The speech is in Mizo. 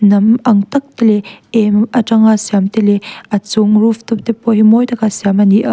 nam ang tak te leh em atang siam te leh a chung rooftop te pawh hi mawi taka siam ani a.